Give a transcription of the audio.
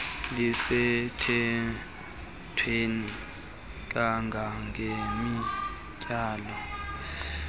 lisemthethweni kanga ngeminyaka